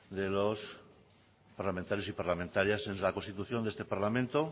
de los parlamentarios y parlamentarias en la constitución de este parlamento